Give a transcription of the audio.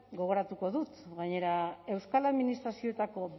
gogoratuko dut gainera euskal administrazioetako